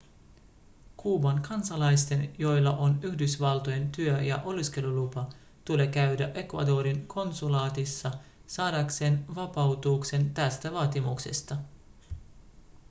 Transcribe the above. kuuban kansalaisten joilla on yhdysvaltojen työ- ja oleskelulupa tulee käydä ecuadorin konsulaatissa saadakseen vapautuksen tästä vaatimuksesta